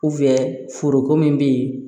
foroko min be yen